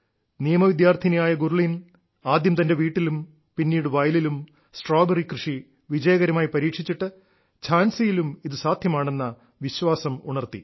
നിയമ വിദ്യാർത്ഥിനിയായ ഗുർലീൻ ആദ്യം തന്റെ വീട്ടിലും പിന്നീട് വയലിലും സ്ട്രോബെറി കൃഷി വിജയകരമായി പരീക്ഷിച്ചിട്ട് ഝാൻസിയിലും ഇത് സാധ്യമാണെന്ന വിശ്വാസം ഉണർത്തി